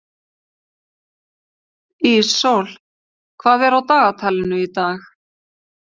Íssól, hvað er á dagatalinu í dag?